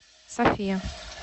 софия